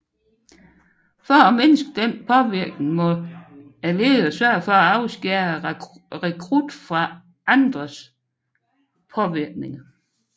For at mindske denne påvirkning må lederen sørge for at afskære rekrutten fra andres påvirkninger